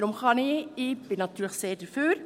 Ich bin natürlich sehr dafür.